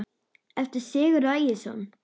eftir Sigurð Ægisson